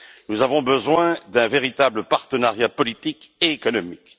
Nous avons besoin d'un véritable partenariat politique et économique.